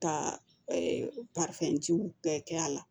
Ka bɛɛ kɛ a la